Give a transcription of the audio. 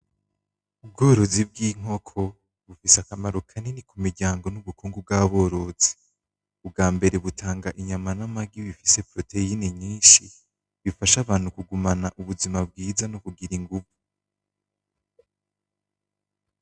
Ubworozi bw'inkoko bufise akamaro kanini k'umuryango nubukungu bw'aborozi bwambere butanga inyama namagi kubera bufise protiene nyinshi bufasha abantu kugumana ubuzima bwiza nokugira inguvu.